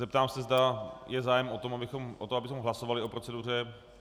Zeptám se, zda je zájem o to, abychom hlasovali o proceduře...